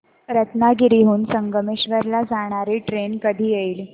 रत्नागिरी हून संगमेश्वर ला जाणारी ट्रेन कधी येईल